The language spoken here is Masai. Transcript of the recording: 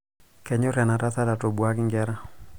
kenyor enatsat atobuaki nkera